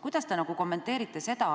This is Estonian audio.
Kuidas te kommenteerite seda,